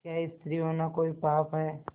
क्या स्त्री होना कोई पाप है